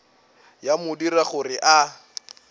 ya mo dira gore a